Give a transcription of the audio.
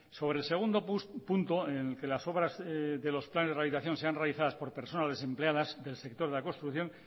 sobre el segundo punto en que las obras de los planes de rehabilitación sean realizadas por personas desempleadas del sector de la construcción